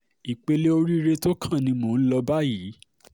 ìpele oríire tó kàn ni mò ń lò báyìí